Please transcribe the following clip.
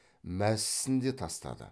мәсісін де тастады